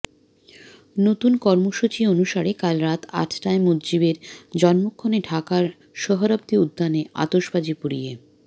নতুন কর্মসূচি অনুসারে কাল রাত আটটায় মুজিবের জন্মক্ষণে ঢাকার সোহরাবর্দি উদ্যানে আতশবাজি পুড়িয়ে